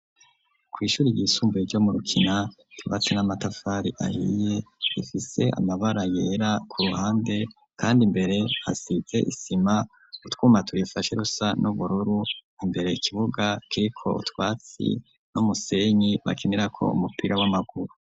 Ku ishure ry'isumbuye ryo mu rukina utwatsi n'amatafari ahiye rifise amabara yera ku ruhande kandi imbere hasize isima utwuma turifashe rusa n'ubururu imbere ikibuga kiriko utwatsi n'umusenyi bakenera ko umupira w'amaguru.